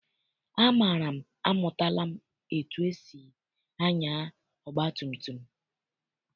Amara amụtala etu esi anya ọgbatumtum.